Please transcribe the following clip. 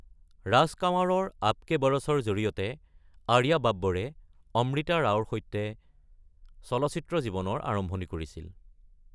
ৰাজ কাঁৱাৰৰ আব কে বৰছৰ জৰিয়তে আৰিয়া বাব্বৰে অমৃতা ৰাওৰ সৈতে চলচ্চিত্ৰ জীৱনৰ আৰম্ভণি কৰিছিল।